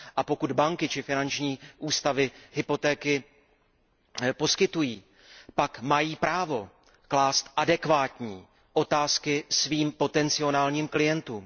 A pokud banky či finanční ústavy hypotéky poskytují, pak mají právo klást adekvátní otázky svým potencionálním klientům.